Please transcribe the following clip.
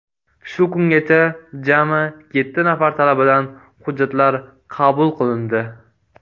Shu kungacha jami yetti nafar talabadan hujjatlar qabul qilindi.